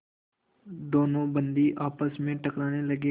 दोनों बंदी आपस में टकराने लगे